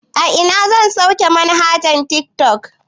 A ina zan sauke manhajar tiktok